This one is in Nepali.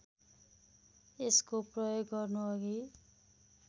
यसको प्रयोग गर्नुअघि